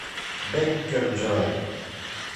беккерджой